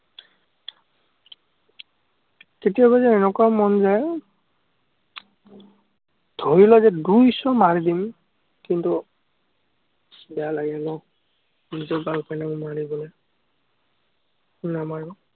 কেতিয়াবা এনেকুৱা মন যায়, ধৰিলৈ যেন দুই চৰ মাৰি দিম। কিন্তু, বেয়া লাগে ন, নিজৰ girl friend ক মাৰিবলে, নামাৰো।